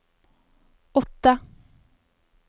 åtte